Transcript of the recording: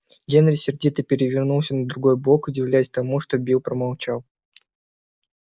генри сердито перевернулся на другой бок удивляясь тому что билл промолчал